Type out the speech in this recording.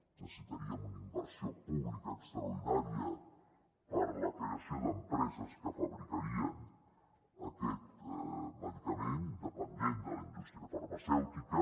necessitaríem una inversió pública extraordinària per a la creació d’empreses que fabricarien aquest medicament independent de la indústria farmacèutica